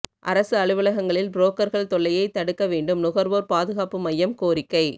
அரசு அலுவலகங்களில் புரோக்கர்கள் தொல்லையை தடுக்க வேண்டும் நுகர்வோர் பாதுகாப்பு மையம் கோரிக்கை